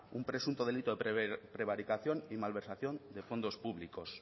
un presunto delito de prevaricación y malversación de fondos públicos